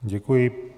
Děkuji.